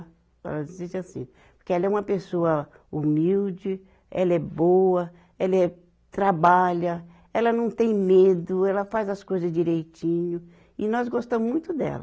Ela disse assim, porque ela é uma pessoa humilde, ela é boa, ela é trabalha, ela não tem medo, ela faz as coisas direitinho, e nós gostamos muito dela.